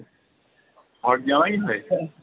ঘরজামাই হয়ে?